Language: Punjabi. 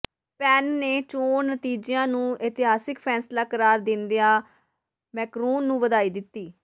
ਪੇਨ ਨੇ ਚੋਣ ਨਤੀਜਿਆਂ ਨੂੰ ਇਤਿਹਾਸਕ ਫ਼ੈਸਲਾ ਕਰਾਰ ਦਿੰਦਿਆਂ ਮੈਕਰੌਨ ਨੂੰ ਵਧਾਈ ਦਿੱਤੀ